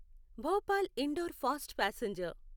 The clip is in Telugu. Bhopal Indore fast passenger